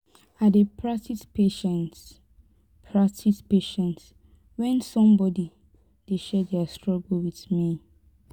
I dey practice patience practice patience when somebody dey share their stuggle with me